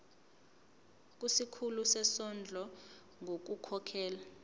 kusikhulu sezondlo ngokukhokhela